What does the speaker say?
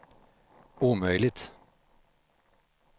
omöjligt